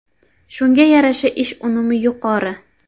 Shunga yarasha ish unumi yuqori.